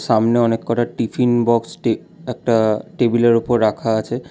সামনে অনেক কটা টিফিন বক্সটি একটা টেবিলের ওপর রাখা আছে।